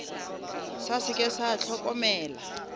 sa se ke sa hlokomela